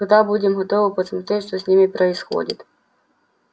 когда будем готовы подсмотреть что с ними происходит